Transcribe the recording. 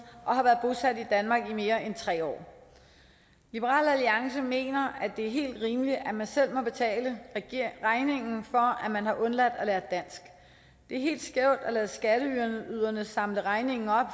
og har været bosat i danmark i mere end tre år liberal alliance mener at det er helt rimeligt at man selv må betale regningen for at man har undladt at lære dansk det er helt skævt at lade skatteyderne samle regningen op